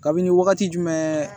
Kabini wagati jumɛn